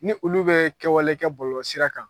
Ni olu bɛ kɛwale kɛ bɔlɔlɔ sira kan